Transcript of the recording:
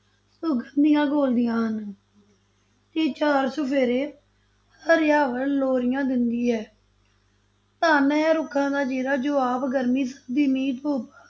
ਸੁਗੰਧੀਆਂ ਘੋਲਦੀਆਂ ਹਨ ਤੇ ਚਾਰ-ਚੁਫੇਰੇ ਹਰਿਆਵਲ ਲੋਰੀਆਂ ਦਿੰਦੀ ਹੈ ਧੰਨ ਹੈ ਰੁੱਖਾਂ ਦਾ ਜੇਰਾ ਜੋ ਆਪ ਗੁਰਮੀ-ਸਰਦੀ, ਮੀਂਹ-ਧੁੱਪ,